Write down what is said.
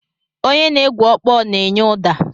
Onye na-egwu ọkpọ na-enye ụda.